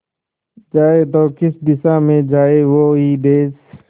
जाए तो किस दिशा में जाए वो ही देस